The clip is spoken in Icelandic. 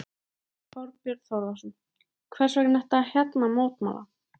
Þorbjörn Þórðarson: Hvers vegna ertu hérna að mótmæla?